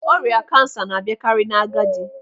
Ọrịa kansa na-abịakari n'agadi.